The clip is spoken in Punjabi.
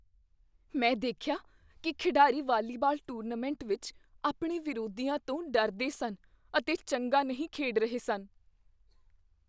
ਮੈਂ ਦੇਖਿਆ ਕੀ ਖਿਡਾਰੀ ਵਾਲੀਬਾਲ ਟੂਰਨਾਮੈਂਟ ਵਿੱਚ ਆਪਣੇ ਵਿਰੋਧੀਆਂ ਤੋਂ ਡਰਦੇ ਸਨ ਅਤੇ ਚੰਗਾ ਨਹੀਂ ਖੇਡ ਰਹੇ ਸਨ।